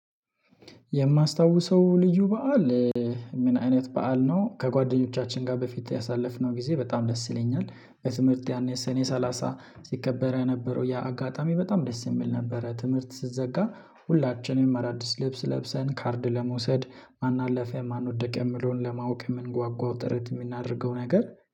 የማስታውሰው ልዩ በዓል? ምን አይነት በዓል ነው ከጓደኞቻችን ጋር በፊት ያሳለፍነው ጊዜ በጣም ደስ ይለኛል። በትምህርት ያኔ ሰኔ ሰላሳ ሲከበር የነበረው ያ አጋጣሚ በጣም ደስ የሚል ነበረ። ትምህርት ሲዘጋ ሁላችንም አዳዲስ ልብስ ለብሰን ካርድ ለመውሰድ ማን አለፈ ማን ወደቀ የሚለውን ለማወቅ የምንጓጓው ጥረት የምናደርገው ነገር